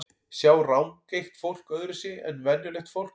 Sjá rangeygt fólk öðruvísi en venjulegt fólk?